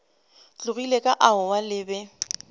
tlogile ka aowa le be